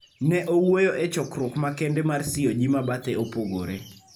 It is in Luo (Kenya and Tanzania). Ne owuoyo e chokruok makende mar CoG mabathe opogore